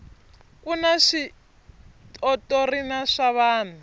kuna switotrna swa vana